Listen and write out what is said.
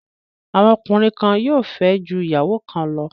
Àwọn ọkùnrin kan yóò fẹ́ ju ìyàwó kan lọ.